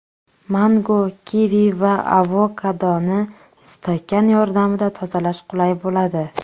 Mango, kivi va avokadoni stakan yordamida tozalash qulay bo‘ladi.